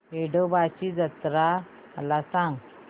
येडोबाची यात्रा मला सांग